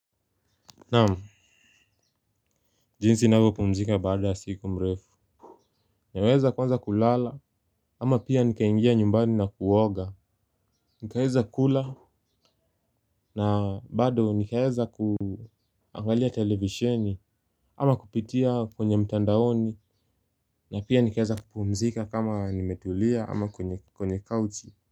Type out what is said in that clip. Naam, jinsi navyopumzika baada siku mrefu. Naweza kuanza kulala ama pia nikaingia nyumbani na kuoga. Nikaeza kula na bado nikaeza kuangalia televisheni ama kupitia kwenye mtandaoni. Na pia nikaeza kupumzika kama nimetulia ama kwenye kauchi.